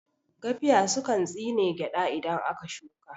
Gafiya sukan tsine gyaɗa idan aka shuka